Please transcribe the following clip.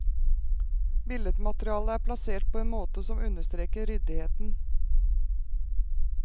Billedmaterialet er plassert på en måte som understreker ryddigheten.